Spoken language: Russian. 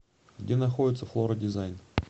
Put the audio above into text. где находится флора дизайн